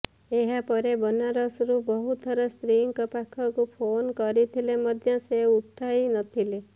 ଏହା ପରେ ବନାରସରୁ ବହୁ ଥର ସ୍ତ୍ରୀଙ୍କ ପାଖକୁ ଫୋନ କରିଥିଲେ ମଧ୍ୟ ସେ ଉଠାଇନଥିଲେ